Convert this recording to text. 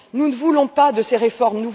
Nous ne voulons pas de ces réformes.